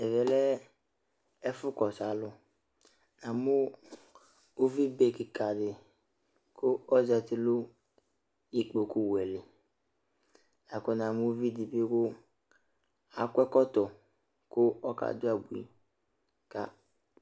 Ɛmɛ lɛ ɛfʋ kɔsʋ alʋNamʋ uvi be kɩka dɩ ,kʋ ozati nʋ ikpoku wɛ liLakʋ namʋ uvi dɩ bɩ kʋ l' akɔ ɛkɔtɔ kʋ ɔka dʋ abui ka alʋ